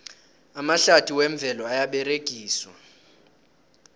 amahlathi wemvelo ayaberegiswa